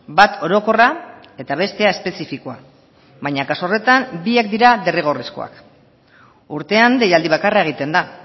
bat orokorra eta bestea espezifikoa baina kasu horretan biak dira derrigorrezkoak urtean deialdi bakarra egiten da